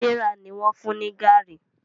Serah ní wón fún ní garri.